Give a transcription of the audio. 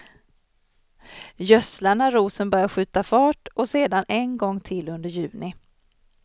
Gödsla när rosen börjar skjuta fart och sedan en gång till under juni.